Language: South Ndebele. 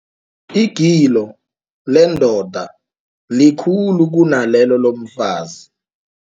Igilo lendoda likhulu kunalelo lomfazi.